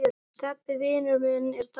Stebbi vinur minn er dáinn.